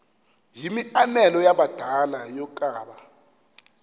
yimianelo yabadala yokaba